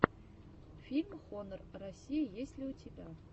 фильм хонор россия есть ли у тебя